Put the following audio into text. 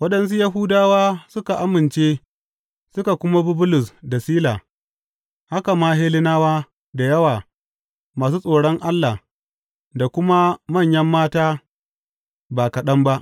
Waɗansu Yahudawa suka amince suka kuma bi Bulus da Sila, haka ma Hellenawa da yawa masu tsoron Allah da kuma manyan mata ba kaɗan ba.